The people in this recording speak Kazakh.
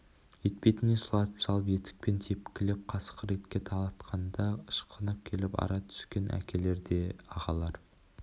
етпетінен сұлатып салып етікпен тепкілеп қасқыр итке талатқанда ышқынып келіп ара түскен әкелер де ағалар